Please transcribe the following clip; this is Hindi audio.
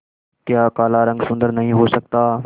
क्या काला रंग सुंदर नहीं हो सकता